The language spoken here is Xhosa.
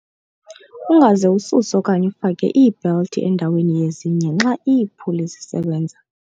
Ungaze ususe okanye ufake iibhelthi endaweni yezinye xa iiphuli zisebenza.